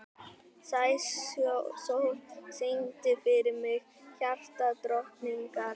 Sæsól, syngdu fyrir mig „Hjartadrottningar“.